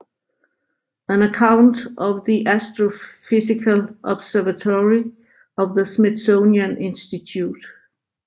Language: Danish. An Account of the Astrophysical Observatory of the Smithsonian Institution